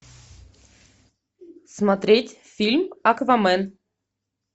смотреть фильм аквамен